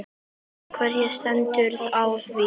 Karen: Hvernig stendur á því?